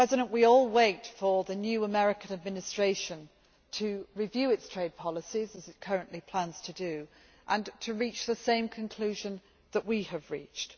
We all wait for the new American Administration to review its trade policies, as it currently plans to do, and to reach the same conclusion that we have reached.